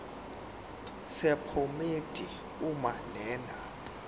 sephomedi uma lena